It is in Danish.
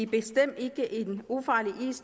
bestemt ikke en ufarlig is